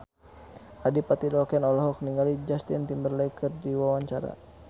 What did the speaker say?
Adipati Dolken olohok ningali Justin Timberlake keur diwawancara